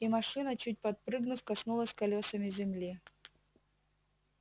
и машина чуть подпрыгнув коснулась колёсами земли